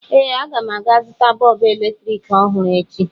Ee, aga m aga zụta bọọbụ eletrik ọhụrụ echi.